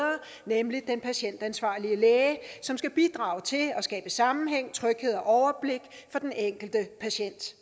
nemlig den patientansvarlige læge som skal bidrage til at skabe sammenhæng tryghed og overblik for den enkelte patient